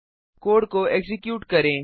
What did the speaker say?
code को execute करें